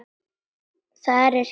Þar er gist.